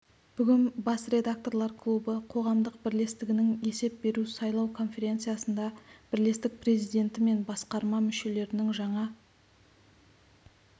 бүгін бас редакторлар клубы қоғамдық бірлестігінің есеп беру сайлау конференциясында бірлестік президенті мен басқарма мүшелерінің жаңа